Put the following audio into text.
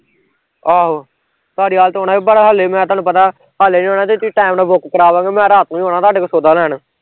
ਆਹੋ ਧਾਰੀਵਾਲ ਤਾਂ ਆਉਣਾ ਈ ਪਰ ਹਲੇ ਮੈਂ ਤੁਹਾਨੂੰ ਪਤਾ, ਹਲੇ ਨੀ ਆਉਣਾ ਤੇ ਤੁਸੀਂ ਟੈਮ ਨਾਲ਼ book ਕਰਾ ਦਿਉਗੇ ਤੇ ਮੈਂ ਰਾਤ ਨੂੰ ਈ ਆਉਣਾ ਤੁਹਾਡੇ ਕੋਲ ਸੌਦਾ ਲੈਣ